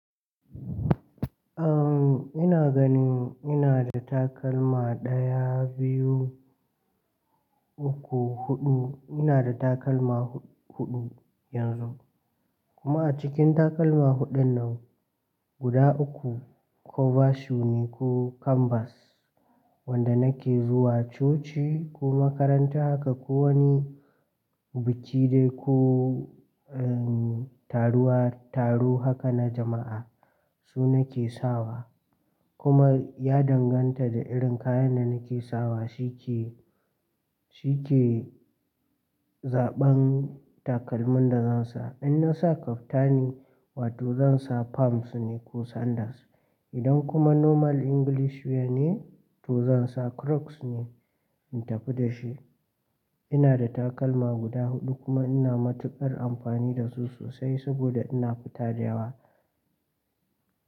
Uhm, ina gani ina da takalma daya, biyu, uku, huɗu. Ina da takalma huɗu yanzu. Kuma a cikin takalma huɗun nan guda uku cover shoe ne ko canvas wanda nake zuwa coci ko makaranta haka ko wani biki dai ko, uhm, taruwa-- taro haka na jama'a su nake sawa. Kuma ya danganta da irin kayan da nake sawa shi ke, shi ke zaɓan takalmin da zan sa. In na sa kaftani, wato zan sa pumps ne ko sandals. Idan kuma normal English wear ne to zan sa crocs ne in tafi da shi. Ina da takalma guda huɗu kuma ina matuƙar amfani da su sosai saboda ina fita da yawa.